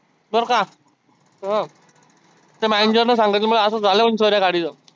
बरं का अं त्या manager ने सांगितलं मला असं असं झालं म्हणे गाडीच.